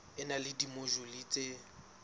e na le dimojule tse